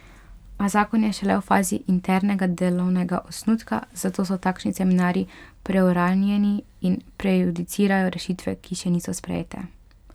A zakon je šele v fazi internega delovnega osnutka, zato so takšni seminarji preuranjeni in prejudicirajo rešitve, ki še niso sprejete.